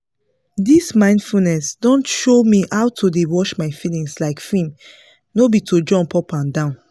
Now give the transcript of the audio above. dis mindfulness don show me how to dey watch my feelings like film no be to jump up and down